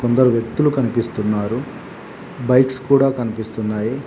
కొందరు వ్యక్తులు కనిపిస్తున్నారు బైక్స్ కూడ కనిపిస్తున్నాయి.